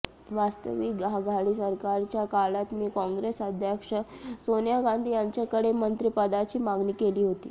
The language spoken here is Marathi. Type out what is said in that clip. वास्तविक आघाडी सरकारच्या काळात मी काँग्रेस अध्यक्षा सोनिया गांधी यांच्याकडे मंत्रिपदाची मागणी केली होती